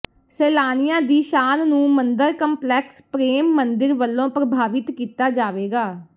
ਸੈਲਾਨੀਆਂ ਦੀ ਸ਼ਾਨ ਨੂੰ ਮੰਦਰ ਕੰਪਲੈਕਸ ਪ੍ਰੇਮ ਮੰਦਿਰ ਵਲੋਂ ਪ੍ਰਭਾਵਿਤ ਕੀਤਾ ਜਾਵੇਗਾ